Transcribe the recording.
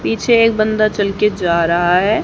पीछे एक बंदा चल के जा रहा है।